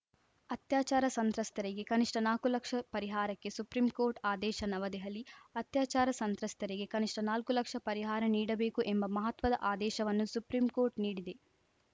ಅತ್ಯಾಚಾರ ಸಂತ್ರಸ್ತರಿಗೆ ಕನಿಷ್ಠ ನಾಕು ಲಕ್ಷ ಪರಿಹಾರಕ್ಕೆ ಸುಪ್ರೀಂ ಕೋರ್ಟ್‌ ಆದೇಶ ನವದೆಹಲಿ ಅತ್ಯಾಚಾರ ಸಂತ್ರಸ್ತರಿಗೆ ಕನಿಷ್ಠ ನಾಲ್ಕು ಲಕ್ಷ ಪರಿಹಾರ ನೀಡಬೇಕು ಎಂಬ ಮಹತ್ವದ ಆದೇಶವನ್ನು ಸುಪ್ರೀಂ ಕೋರ್ಟ್‌ ನೀಡಿದೆ